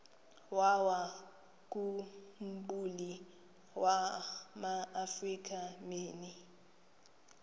wawakhumbul amaafrika mini